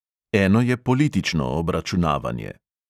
Eno je politično obračunavanje.